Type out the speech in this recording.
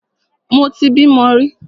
Mo ti bímo rí.